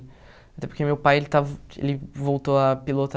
Até porque meu pai, ele estava ele voltou a pilotar.